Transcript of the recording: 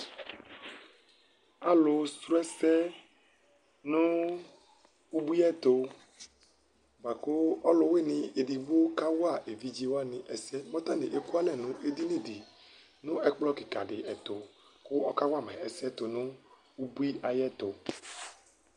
Alʋsrɔ ɛsɛ nʋ ubui ɛtʋ, bʋa kʋ ɔlʋwɩnɩ edigbo kawa evidze wanɩ ɛsɛ Mʋ atanɩ ekualɛ nʋ edini dɩ nʋ ɛkplɔ kɩka dɩ ɛtʋ kʋ ɔkawa ma ɛsɛ tʋ nʋ ubui ayɛtʋ